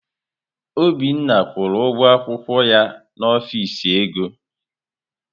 Obinna kwụrụ ụgwọ akwụkwọ ya n'ọfịs ego.